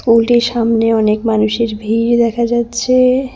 স্কুলটির সামনে অনেক মানুষের ভিড় দেখা যাচ্ছে।